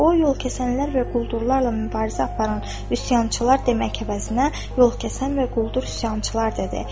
O yol kəsənlər və quldurlarla mübarizə aparan üsyançılar demək əvəzinə yol kəsən və quldur üsyançılar dedi.